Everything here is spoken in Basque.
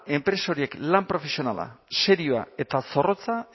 enpresa horiek lan profesionala serioa eta zorrotza